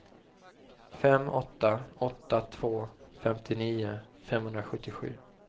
fem åtta åtta två femtionio femhundrasjuttiosju